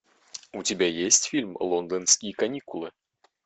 у тебя есть фильм лондонские каникулы